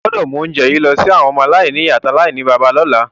O gbọ́dọ̀ mu ounje yi lọ si àwọn ọmọ-aláìnìyá àti aláìníbàbá lọ́la.